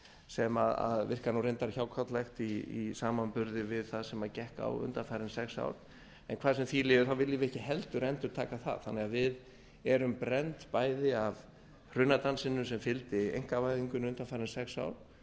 sem virkar reyndar hjákátlegt í samanburði við það sem gekk á undanfarin sex ár en hvað sem því líður viljum við ekki heldur endurtaka það þannig að við erum brennd bæði af hrunadansinum sem fylgdi einkavæðingunni undanfarin sex ár